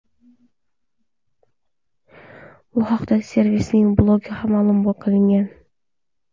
Bu haqda servisning blogida ma’lum qilingan .